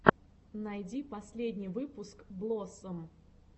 найди последний выпуск блоссом